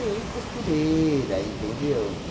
E costureira, entendeu?